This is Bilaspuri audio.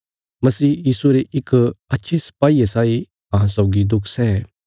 मसीह यीशुये रे इक अच्छे सिपाईये साई अहां सौगी दुख सै